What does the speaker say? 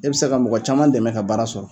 E bɛ se ka mɔgɔ caman dɛmɛ ka baara sɔrɔ.